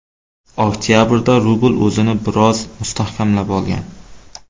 Oktabrda rubl o‘zini biroz mustahkamlab olgan.